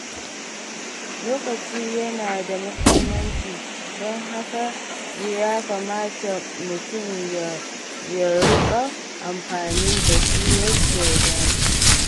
Lokaci yana da muhimmanci, don haka ya kamata mutum ya riƙa amfani da shi yadda ya dace.